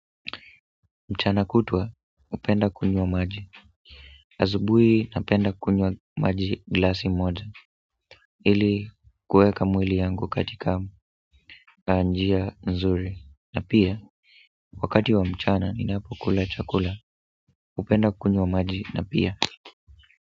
Mchana kutua hupenda kunywa maji asubuhi napenda kunywa maji glasi moja ili kuweka mwili yangu katika njia nzuri na pia wakati wa mchana ninapokula chakula hupenda kunywa maji na pia.